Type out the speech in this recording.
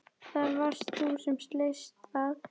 Það varst þú sem sleist það.